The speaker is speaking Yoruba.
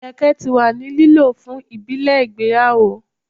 Ilẹkẹ ti wa ni lo fun ibile igbeyawo